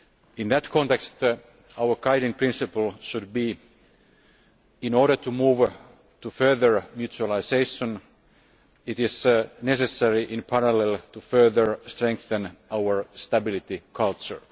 In that context our guiding principle should be that, in order to move to further mutualisation, it is necessary in parallel to further strengthen our stability culture.